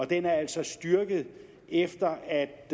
den er altså styrket efter at